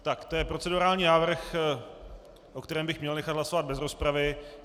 Tak to je procedurální návrh, o kterém bych měl nechat hlasovat bez rozpravy.